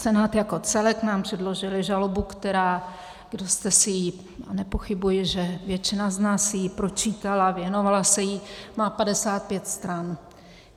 Senát jako celek nám předložil žalobu, která - kdo jste si ji, a nepochybuji, že většina z nás si ji pročítala, věnovala se jí - má 55 stran.